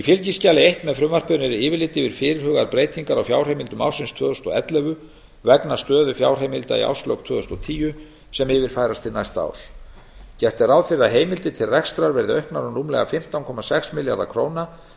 fylgiskjali eins með frumvarpinu er yfirlit yfir fyrirhugaðar breytingar á fjárheimildum ársins tvö þúsund og ellefu vegna stöðu fjárheimilda í árslok tvö þúsund og tíu sem yfirfærast til næsta árs gert er ráð fyrir að heimildir til rekstrar verði auknar um rúmlega fimmtán komma sex milljarða króna